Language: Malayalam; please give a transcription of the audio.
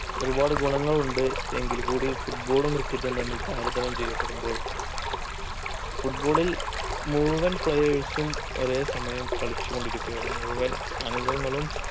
ഒരുപാട് ഗുണങ്ങളുണ്ട് എങ്കിൽ കൂടി football ഉം cricket ഉംതമ്മിൽ താരതമ്യം ചെയ്യപ്പെടുമ്പോൾ football ൽ മുഴുവൻ players ഉം ഒരേ സമയം കളിച്ച് കൊണ്ടിരിക്കുകയാണ് മുഴുവൻ അംഗങ്ങളും